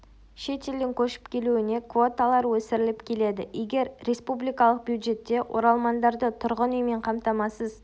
шет елден көшіп келуіне квоталар өсіріліп келеді егер республикалық бюджетте оралмандарды тұрғын үймен қамтамасыз